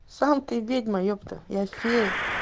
сам ты ведьма епта я фея